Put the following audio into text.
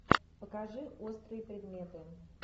покажи острые предметы